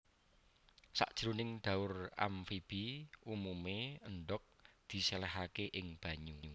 Sajroning dhaur amfibi umumé endhog disèlèhaké ing banyu